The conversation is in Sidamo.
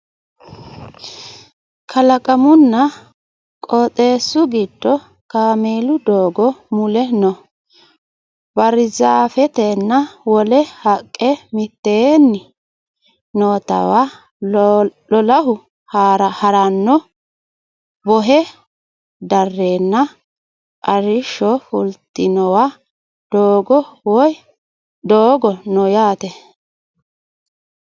kalaqamunna qoxeesu giddo kameelu doogo mule noo barizaafetenna wole haqqe mitteenni nootewa lolahu harano bohe darreenna arrishsho fultinowa doogo no yaate